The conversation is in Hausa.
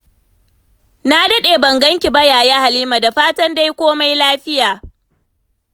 Na daɗe ban ganki ba, Yaya Halima. Da fatan dai komai lafiya.